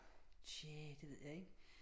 Tja det ved jeg ikke